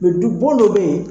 Mɛ du bɔn dɔ bɛ yen.